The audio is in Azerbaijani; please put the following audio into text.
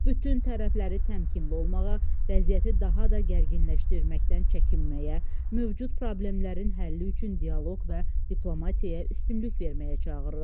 Bütün tərəfləri təmkinli olmağa, vəziyyəti daha da gərginləşdirməkdən çəkinməyə, mövcud problemlərin həlli üçün dialoq və diplomatiyaya üstünlük verməyə çağırırıq.